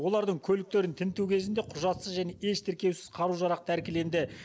олардың көліктерін тінту кезінде құжатсыз және еш тіркеусіз қару жарақ тәркіленді